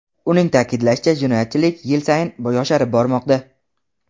Uning ta’kidlashicha jinoyatchilik yil sayin yosharib bormoqda.